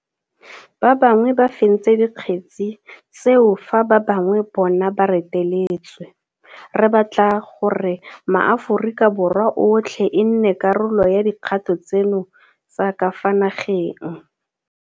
Ba bangwe ba fentse dikgetse tseo fa ba bangwe bona ba reteletswe. Re batla gore maAforika Borwa otlhe e nne karolo ya dikgato tseno tsa ka fa nageng.